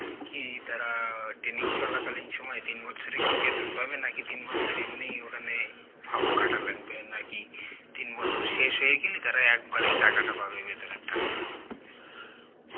কি তারা training চলা কালীন সময় তিন বছরে কি বেতন খাবে নাকি তিন বছর এমনিই ওখানে ফাও খাটা লাগবে নাকি তিন বছর শেষ হয়ে গেলি তারা একবারে টাকা টা পাবে, বেতনের টাকা?